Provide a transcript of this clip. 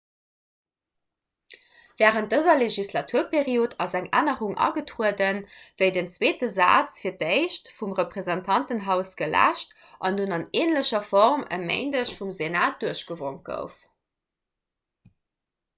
wärend dëser legislaturperiod ass eng ännerung agetrueden wéi den zweete saz fir d'éischt vum repräsentantenhaus geläscht an dunn an änlecher form e méindeg vum senat duerchgewonk gouf